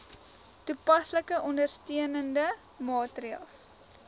toepaslike ondersteunende maatreëls